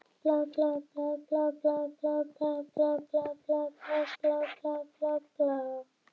Honum er greinilega brugðið yfir því hvað hún hefur tekið hann alvarlega.